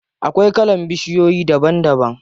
Akwai kalan bishiyoyi daban daban.